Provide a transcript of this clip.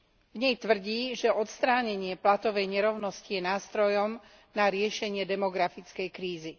V nej tvrdí, že odstránenie platovej nerovnosti je nástrojom na riešenie demografickej krízy.